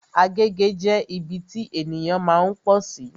Agege jẹ́ ibi tí ènìyàn máa ń pọ̀sí